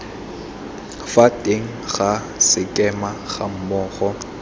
fa teng ga sekema gammogo